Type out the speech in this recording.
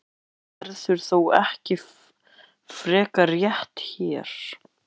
Um þetta verður þó ekki frekar rætt hér.